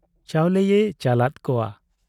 ᱪᱟᱣᱞᱮᱭᱮ ᱪᱟᱞᱟᱫ ᱠᱚᱣᱟ ᱾